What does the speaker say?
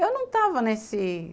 Eu não estava nesse...